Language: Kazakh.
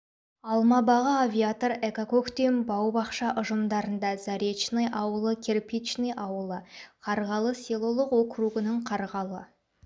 алма бағы авиатор эко көктем бау-бақша ұжымдарында заречный ауылы кирпичный ауылы қарғалы селолық округінің қарғалы